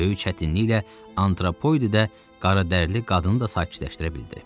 Böyük çətinliklə antropoidi də, qaradərili qadını da sakitləşdirə bildi.